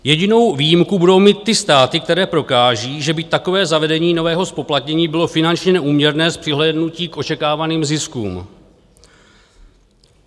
Jedinou výjimku budou mít ty státy, které prokážou, že by takové zavedení nového zpoplatnění bylo finančně neúměrné s přihlédnutím k očekávaným ziskům.